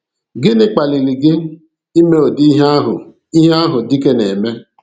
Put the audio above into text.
Gịnị kpaliri gị ime udi ihe ahụ ihe ahụ dike na-eme?